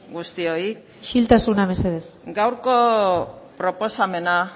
guztioi isiltasuna mesedez gaurko proposamena